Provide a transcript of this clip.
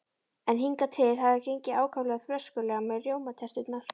En hingað til hafði það gengið ákaflega brösulega með rjómaterturnar.